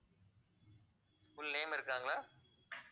full name இருக்காங்களா